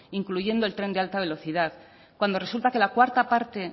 incluyendo el tren de alta velocidad cuando resulta que la cuarta parte